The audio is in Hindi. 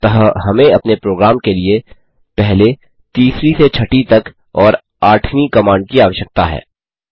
अतः हमें अपने प्रोग्राम के लिए पहले तीसरी से छठी तक और आठवीं कमांड की आवश्यकता है